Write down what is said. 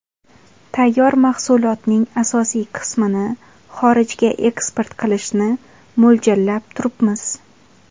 Tayyor mahsulotning asosiy qismini xorijga eksport qilishni mo‘ljallab turibmiz.